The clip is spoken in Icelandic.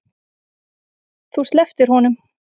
Þú slepptir honum.